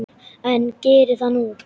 En geri það nú.